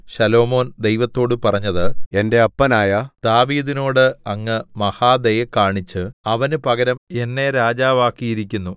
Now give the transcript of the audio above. ശലോമോൻ ദൈവത്തോടു പറഞ്ഞത് എന്റെ അപ്പനായ ദാവീദിനോടു അങ്ങ് മഹാദയ കാണിച്ച് അവന് പകരം എന്നെ രാജാവാക്കിയിരിക്കുന്നു